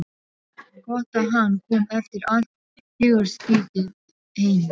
Gott að hann kom eftir allt hugarstríðið heima.